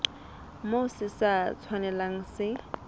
moo se sa tshwanelang se